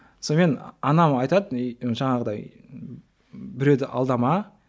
сонымен анам айтатын и жаңағыдай біреуді алдама